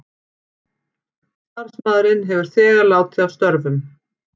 Starfsmaðurinn hefur þegar látið af störfum